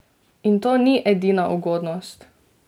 In to ni edina ugodnost!